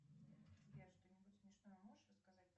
сбер что нибудь смешное можешь рассказать